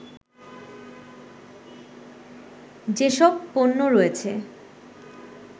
যেসব পণ্য রয়েছে